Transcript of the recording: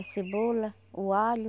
A cebola, o alho.